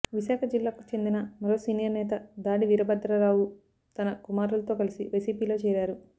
విశాఖజిల్లాకు చెందిన మరో సీనియర్నేత దాడి వీరభద్రరావు తన కుమారులతో కలసి వైసీపీలో చేరారు